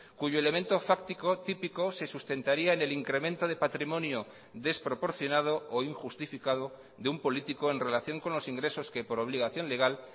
cuyo elemento fáctico típico se sustentaría en el incremento de patrimonio desproporcionado o injustificado de un político en relación con los ingresos que por obligación legal